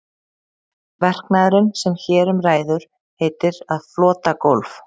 Verknaðurinn sem hér um ræður heitir að flota gólf.